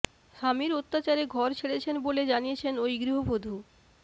স্বামীর অত্যাচারে ঘর ছেড়েছেন বলে জানিয়েছেন ওই গৃহবধূ